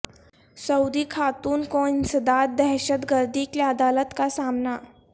سعودی خاتون کو انسداد دہشت گردی کی عدالت کا سامنا